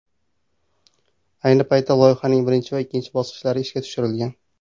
Ayni paytda loyihaning birinchi va ikkinchi bosqichlari ishga tushirilgan.